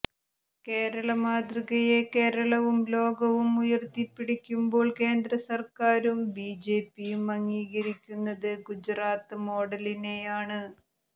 കേരള മാതൃകയെ കേരളവും ലോകവും ഉയർത്തിപ്പിടിക്കുമ്പോൾ കേന്ദ്ര സർക്കാരും ബി ജെ പിയും അംഗീകരിക്കുന്നത് ഗുജറാത്ത് മോഡലിനെയാണ്